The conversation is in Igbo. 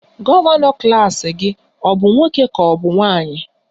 Gọvanọ klas gị ọ bụ nwoke ka ọ bụ nwanyị?